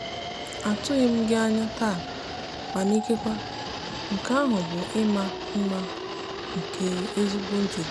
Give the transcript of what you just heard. atụghị m gị anya taa mana ikekwe nke ahụ bụ ịma mma nke ezigbo njikọ.